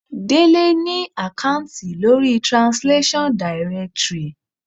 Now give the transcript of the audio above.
Délé ni àkáùntì lórí Translation. directory.